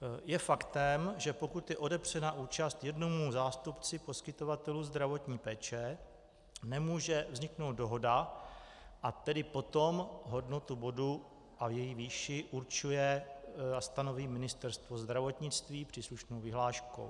Je faktem, že pokud je odepřena účast jednomu zástupci poskytovatelů zdravotní péče, nemůže vzniknout dohoda, a tedy potom hodnotu bodu a její výši určuje a stanoví Ministerstvo zdravotnictví příslušnou vyhláškou.